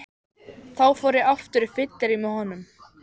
Þá fór ég aftur á fyllerí með honum.